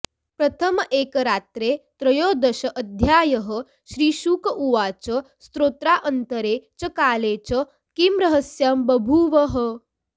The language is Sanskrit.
प्रथमैकरात्रे त्रयोदशोऽध्यायः श्रीशुक उवाच स्तोत्रान्तरे च काले च किं रहस्यं बभूव ह